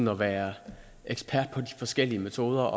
at være ekspert på de forskellige metoder